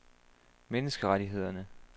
menneskerettighederne